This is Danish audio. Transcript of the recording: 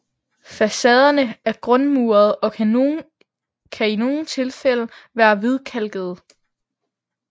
Facaderne er grundmurede og kan i nogle tilfælde være hvidkalkede